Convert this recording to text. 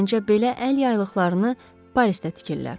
Məncə belə əl yaylıqlarını Parisdə tikirlər.